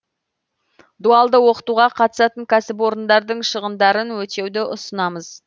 дуалды оқытуға қатысатын кәсіпорындардың шығындарын өтеуді ұсынамыз